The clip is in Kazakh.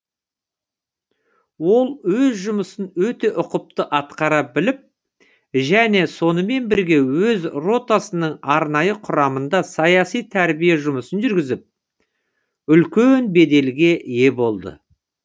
ол өз жұмысын өте ұқыпты атқара біліп және сонымен бірге өз ротасының арнайы құрамында саяси тәрбие жұмысын жүргізіп үлкен беделге ие болады